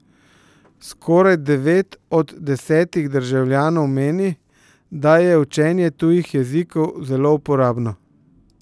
Skoraj devet od desetih državljanov meni, da je učenje tujih jezikov zelo uporabno.